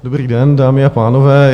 Dobrý den, dámy a pánové.